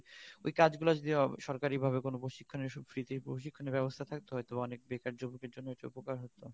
ওই কাজ গুলো যদি সরকারি ভাবে কোন প্রশিক্ষনে free তে প্রশিক্ষনের ব্যবস্থা থাকতো হয়তো অনেক বেকার যুবকের জন্য এটা উপকার হত